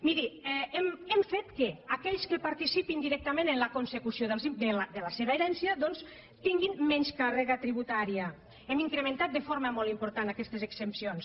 miri hem fet que aquells que participin directament en la consecució de la seva herència doncs tinguin menys càrrega tributària hem incrementat de forma molt important aquestes exempcions